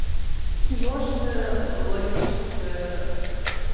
киношная логическая